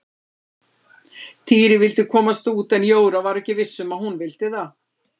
Týri vildi komast út en Jóra var ekki viss um að hún vildi það.